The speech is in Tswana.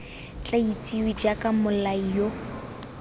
tla itsiwe jaaka mmolai yo